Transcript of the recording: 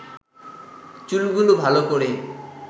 চুলগুলো ভালো করে